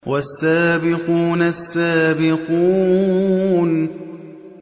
وَالسَّابِقُونَ السَّابِقُونَ